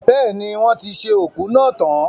Bẹ́ẹ̀ni, wọ́n ti ṣe òkú náà tan.